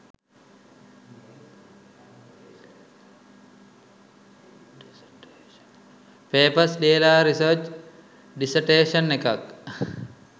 papers ලියලා research dissertation එකක්